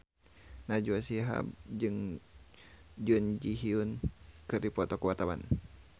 Najwa Shihab jeung Jun Ji Hyun keur dipoto ku wartawan